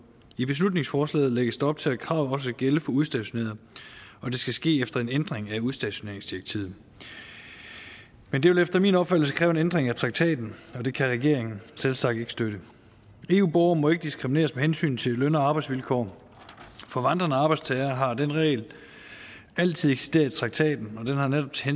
i beslutningsforslaget lægges der op til at kravet også skal gælde for udstationerede og det skal ske efter en ændring af udstationeringsdirektivet men det vil efter min opfattelse kræve en ændring af traktaten og det kan regeringen selvsagt ikke støtte eu borgere må ikke diskrimineres med hensyn til løn og arbejdsvilkår for vandrende arbejdstagere har den regel altid eksisteret i traktaten og den har netop til